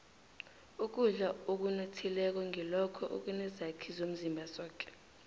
ukudla okunothileko ngilokho ekunezakhi zomzimba zoke